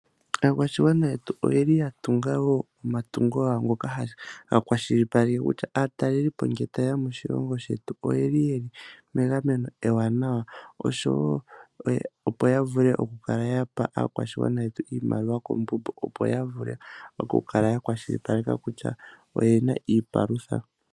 Aakwashigwana yetu oyeli yatunga woo omatungo gawo ngoka haga kwashilipaleke kutya aatalelipo ngele tayeya moshilongo shetu oyeli megameno ewanawa opo yavule okukala yapa aakwashigwana yetu iimaliwa, opo yavule okukala ya kwashilipaleka kutya oyena iipalutha